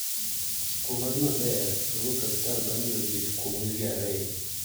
Kuom hawi maberi, nowuok e osiptal bang' yudo thieth kuom wige ariyo.